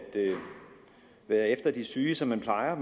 være efter de syge som man plejer